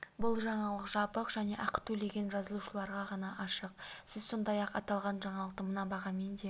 бұл жаңалық жабық және ақы төлеген жазылушыларға ғана ашық сіз сондай-ақ аталған жаңалықты мына бағамен де